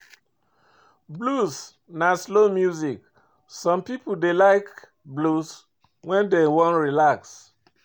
Blues na slow music, some pipo dey like blues when dem wan relax